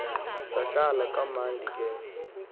sahlala kamnandi ke